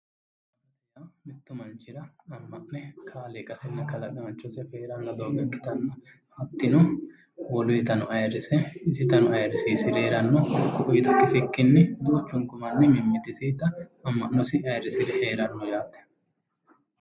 Mittu manichira ama'ne kaaliqasinna kalaqaanichos afe heeranno doogo ikkitanna hattino woluyitano ayirise isitano ayirisiisire heranno ku'uyita kisikkini duuchunikku manni mamituyita ama'nosi ayirisiisire heeranno yaate